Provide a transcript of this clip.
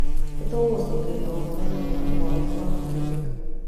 Nĩ tũgũgũcokeria ũhoro narua o ũrĩa kwahoteka.